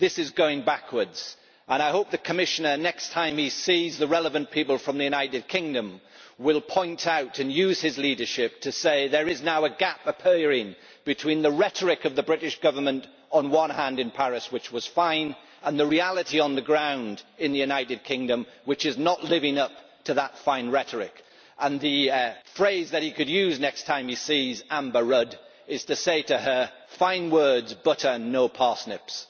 This is going backwards and I hope the Commissioner, next time he sees the relevant people from the United Kingdom, will point this out and use his leadership to say that there is now a gap appearing between the rhetoric of the British Government on one hand in Paris, which was fine, and the reality on the ground in the United Kingdom, which is not living up to that fine rhetoric. And the phrase that he could use next time he sees Amber Rudd is to say to her fine words butter no parsnips.